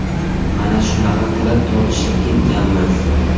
Mana shunaqa qilib tortishib ketganmiz.